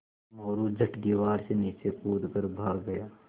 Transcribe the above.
मोरू झट दीवार से नीचे कूद कर भाग गया